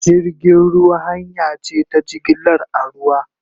Jirgin ruwa hanya ce ta jigilar a ruwa